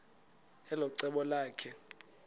elo cebo lakhe